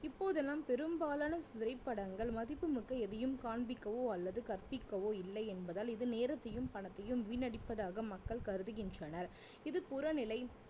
இப்போதெல்லாம் பெரும்பாலான திரைபடங்கள் மதிப்பு மட்டும் எதையும் காண்பிக்கவோ அல்லது கற்பிக்கவோ இல்லை என்பதால் இது நேரத்தையும் பணத்தையும் வீணடிப்பதாக மக்கள் கருதுகின்றனர் இது புறநிலை